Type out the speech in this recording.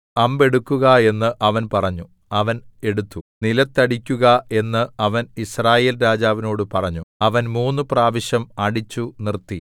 അമ്പ് എടുക്കുക എന്ന് അവൻ പറഞ്ഞു അവൻ എടുത്തു നിലത്തടിക്കുക എന്ന് അവൻ യിസ്രായേൽ രാജാവിനോട് പറഞ്ഞു അവൻ മൂന്നുപ്രാവശ്യം അടിച്ചുനിർത്തി